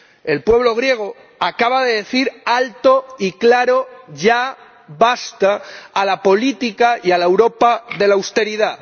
El pueblo griego acaba de decir alto y claro ya basta a la política y a la Europa de la austeridad.